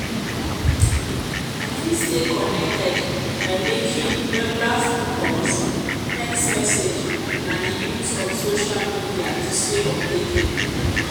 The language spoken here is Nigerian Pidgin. i fit stay connected by making regular phone calls text messages and di use of social media to stay updated.[um]